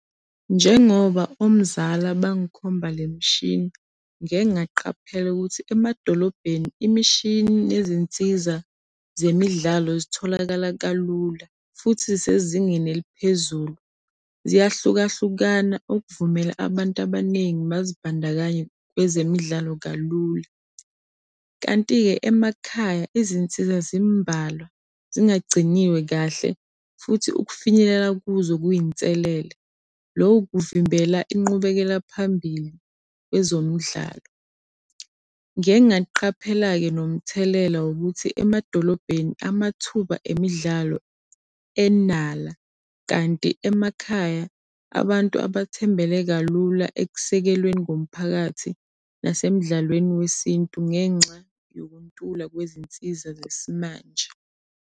Njengoba umzala bangikhomba le mshini, ngike ngaqaphela ukuthi emadolobheni imishini nezinsiza zemidlalo zitholakala kalula futhi zisezingeni eliphezulu. Ziyahlukahlukana ukuvumela abantu abaningi bazibandakanye kwezemidlalo kalula. Kanti-ke emakhaya izinsiza zimbalwa zingagciniwe kahle futhi ukufinyelela kuzo kuyinselele, loku kuvimbela inqubekela phambili kwezomidlalo. Ngiye ngaqaphela-ke nomthelela wokuthi emadolobheni amathuba emidlalo enala, kanti emakhaya abantu abathembele kalula ekusekelweni komphakathi nasemidlalweni wesintu ngenxa yokuntula kwezinsiza zesimanje.